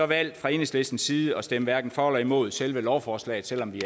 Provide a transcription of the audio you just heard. valgt fra enhedslistens side at stemme hverken for eller imod selve lovforslaget selv om vi